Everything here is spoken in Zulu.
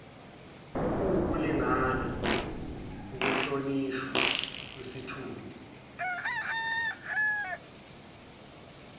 okuwukulingana ukuhlonishwa kwesithunzi